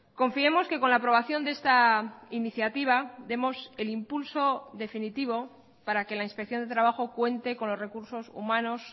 confiemos que con la aprobación de esta iniciativa demos el impulso definitivo para que la inspección de trabajo cuente con los recursos humanos